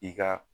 I ka